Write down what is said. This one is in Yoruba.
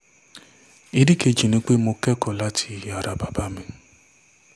ìdí kejì ni pé mo kẹ́kọ̀ọ́ láti ara bàbá mi